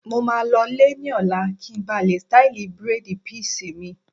mo maa lọ lè ní ọ̀la kí n ba lè ṣtáìlì bírèèdì písì mi